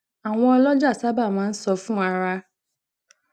àwọn olojà sábà máa ń sọ fún ara